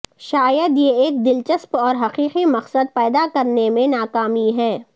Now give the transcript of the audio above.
شاید یہ ایک دلچسپ اور حقیقی مقصد پیدا کرنے میں ناکامی ہے